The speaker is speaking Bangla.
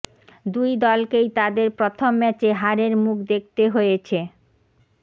দুই দলকেই তাদের প্রথম ম্যাচে হারের মুখ দেখতে হয়েছে